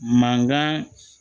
Mankan